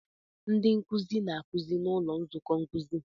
Ndị nkuzi na-akụzi n'ụlọ nzukọ nkuzi.